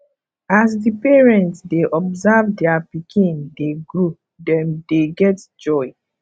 as di parent dey observe their pikin dey grow dem dey get joy